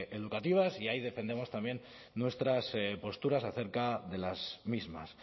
educativas y ahí defendemos también nuestras posturas acerca de las mismas